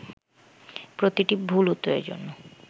প্রতিটি ভুল উত্তরের জন্য